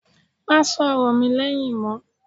Má sọ̀rọ̀ mi lẹ́yìn mọ́!